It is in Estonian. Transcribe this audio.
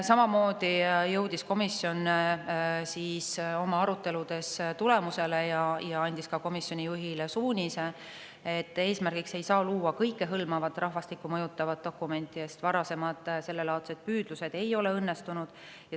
Samamoodi jõudis komisjon oma aruteludes tulemusele ja andis komisjoni juhile ka sellekohase suunise, et eesmärgiks ei saa olla see, et luua kõikehõlmavat rahvastikku mõjutavat dokumenti, sest varasemad sellelaadsed püüdlused ei ole õnnestunud.